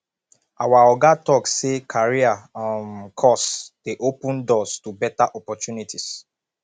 our oga tok sey career um course dey open doors to beta opportunities